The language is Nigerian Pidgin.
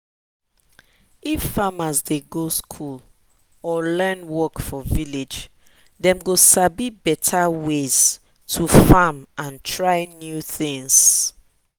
if farmers dey go dey go school or learn work for village dem go sabi better ways to farm and try new things.